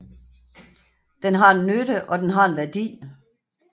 Den har en nytte og den har en værdi